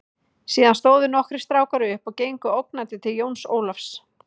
Síðan stóðu nokkrir strákar upp og gengu ógnandi til Jóns Ólafs.